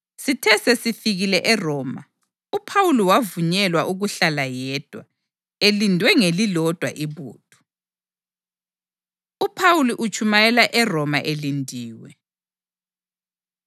Sithe sesifikile eRoma, uPhawuli wavunyelwa ukuhlala yedwa, elindwe ngelilodwa ibutho. UPhawuli Utshumayela ERoma Elindiwe